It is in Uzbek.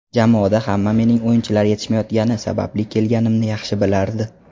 Jamoada hamma mening o‘yinchilar yetishmayotgani sababli kelganimni yaxshi bilardi.